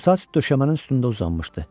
Qıvrımsaç döşəmənin üstündə uzanmışdı.